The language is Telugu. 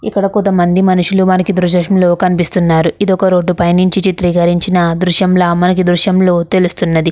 ఇక్కడ కొంతమంది మనుషులు మనకి దృశేషంలో కనిపిస్తున్నారు ఇది ఒక రోడ్ పైనుంచి చిత్రికరించింన దృశ్యంలా మనకి ఈ దృశ్యంలో తెలుస్తున్నది.